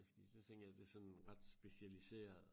Så tænker jeg det sådan ret specialiseret